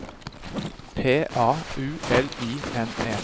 P A U L I N E